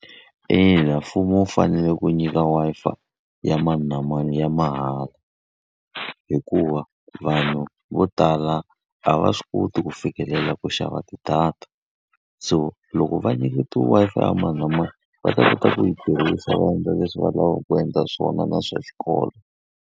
Ina, mfumo wu fanele ku nyika Wi-Fi ya mani na mani ya mahala. Hikuva vanhu vo tala a va swi koti ku fikelela ku xava ti-data. So loko va nyiketiwa Wi-Fi ya mani na mani, va ta kota ku yi tirhisa va endla leswi va lavaka ku endla swona na swa xikolo.